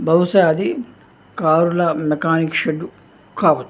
బహుశా అది కారుల మెకానిక్ షెడ్ కావచ్చు.